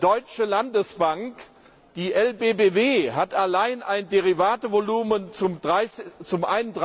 zweitgrößte deutsche Landesbank, die LBBW allein,